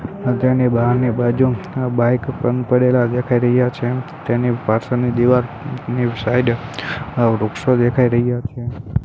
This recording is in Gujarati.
ની બાહરની બાજુ આ બાઇક પણ પડેલા દેખાય રહ્યા છે તેની પાછળની દીવારની સઈડે આ વૃક્ષો દેખાઈ રહ્યા છે.